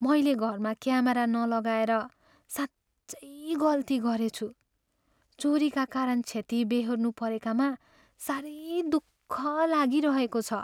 मैले घरमा क्यामेरा नलगाएर साँच्चै गल्ती गरेछु। चोरीका कारण क्षति बेहोर्न परेकामा साह्रै दुख लागिरहेको छ।